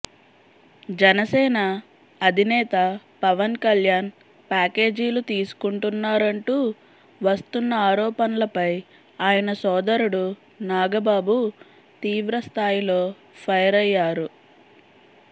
జనసేన అధినేత పవన్ కల్యాణ్ ప్యాకేజీలు తీసుకుంటున్నారంటూ వస్తున్న ఆరోపణలపై ఆయన సోదరుడు నాగబాబు తీవ్రస్థాయిలో ఫైరయ్యారు